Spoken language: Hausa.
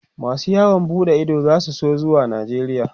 masu yawon buɗe Ido zasu so zuwa najeria